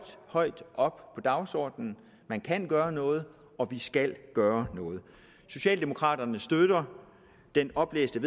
højt på dagsordenen man kan gøre noget og vi skal gøre noget socialdemokraterne støtter det oplæste